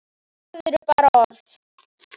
Orð eru bara orð.